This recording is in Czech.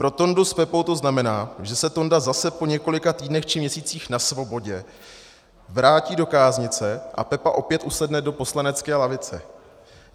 Pro Tondu s Pepou to znamená, že se Tonda zase po několika týdnech či měsících na svobodě vrátí do káznice a Pepa opět usedne do poslanecké lavice.